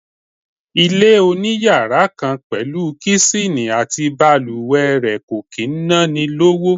Ilé oniyàrá kan pẹ̀lú Kíṣìnì àti bàlùwẹ̀ rẹ̀ kò kì í ná ni lówó.